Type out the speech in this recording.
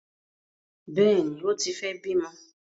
Bẹẹni, o tí fẹ bimọ